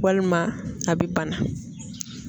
Walima a bɛ bana.